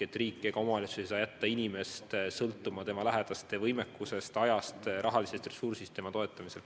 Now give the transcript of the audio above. Ei riik ega omavalitsus ei saa jätta inimest sõltuma tema lähedaste võimekusest, ajast ja rahalisest ressursist tema toetamisel.